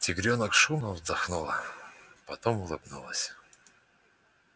тигрёнок шумно вздохнула потом улыбнулась